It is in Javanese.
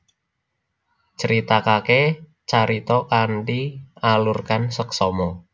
Critakake carita kanthi alurkan seksama